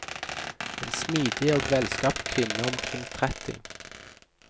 En smidig og velskapt kvinne omkring tretti.